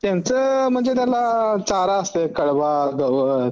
त्याचं म्हणजे त्यांना चारा असत